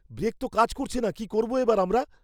Break তো কাজ করছে না। কী করবো এবার আমরা?